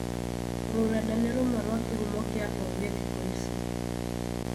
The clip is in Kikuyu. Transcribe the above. Rurenda nĩ rũmwe rwa kĩhumo kĩa ũgĩ thikũ ici